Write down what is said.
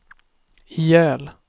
ihjäl